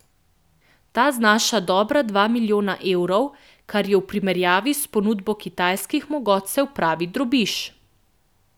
Ta znaša dobra dva milijona evrov, kar je v primerjavi s ponudbo kitajskih mogotcev pravi drobiž.